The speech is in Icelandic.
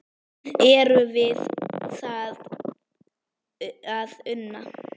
Er við það að una?